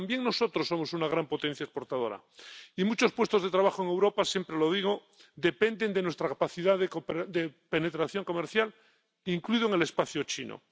pero también nosotros somos una gran potencia exportadora, y muchos puestos de trabajo en Europa —siempre lo digo— dependen de nuestra capacidad de penetración comercial, incluso en el espacio chino.